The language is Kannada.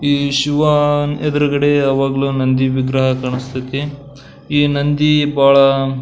ಈ ಶಿವ ಎದುರುಗಡೆ ಯಾವಾಗ್ಲೂ ನಂದಿ ವಿಗ್ರಹ ಕಾಣಿಸ್ತಾಯಿತಿ ಈ ನಂದಿ ಬಹಳ --